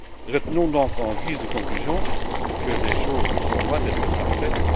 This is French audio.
Retenons, donc, en guise de conclusion, que les choses sont loin d'être parfaites.